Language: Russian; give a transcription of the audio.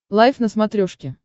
лайф на смотрешке